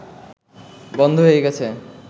বন্ধ হয়ে গেছে